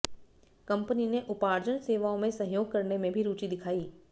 company ने उपार्जन सेवाओं में सहयोग करने में भी रुचि दिखाई